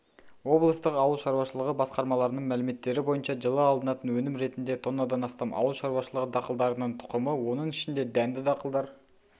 облыстық ауыл шаруашылығы басқармаларының мәліметтері бойынша жылы алынатын өнім ретінде тоннадан астам ауыл шаруашылығы дақылдарының тұқымы оның ішінде дәнді дақылдар